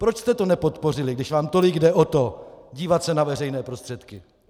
Proč jste to nepodpořili, když vám tolik jde o to dívat se na veřejné prostředky?